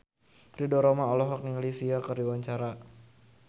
Ridho Roma olohok ningali Sia keur diwawancara